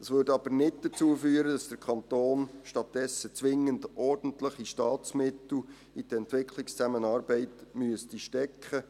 Es würde aber nicht dazu führen, dass der Kanton stattdessen zwingend ordentliche Staatsmittel in die Entwicklungszusammenarbeit stecken müsste.